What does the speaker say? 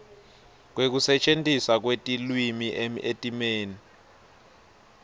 kwekusetjentiswa kwelulwimi etimeni